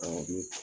Awɔ